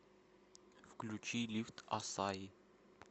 включи лифт ассаи